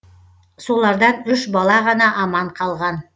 солардан үш бала ғана аман қалған